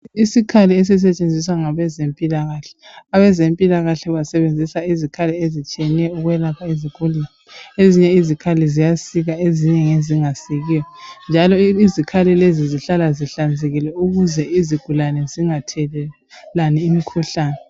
Isikhali esisetshenziswa ngabezempilakahle. Abezempilakahle basebenzisa izikhali ezitshiyeneyo ukwelapha izigulane. Ezinye izikhali ziyasika ezinye ngezingasikiyo njalo izikhali lezi zihlala zihlanzekile ukuze izigulane zingathelelani imikhuhlane.